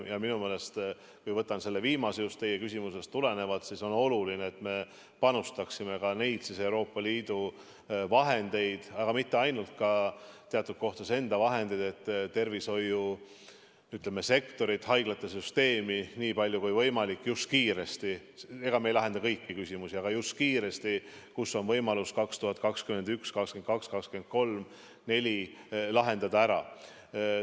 Minu meelest, just teie küsimusest tulenevalt, on oluline, et me panustaksime ka Euroopa Liidu vahendeid, aga mitte ainult, teatud kohtades ka enda vahendeid, et tervishoiusektoris, haiglate süsteemis nii palju kui võimalik just kiiresti – me ei lahenda kõiki küsimusi –, kus on võimalus, siis 2021, 2022, 2023, 2024, lahendada küsimusi ära.